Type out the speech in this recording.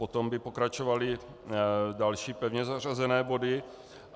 Potom by pokračovaly další pevně zařazené body.